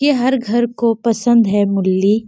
ये हर घर को पसंद है मुली--